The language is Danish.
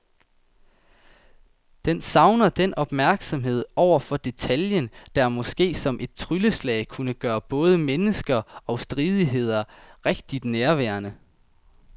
Den savner den opmærksomhed over for detaljen, der måske som et trylleslag kunne gøre både mennesker og stridigheder rigtig nærværende.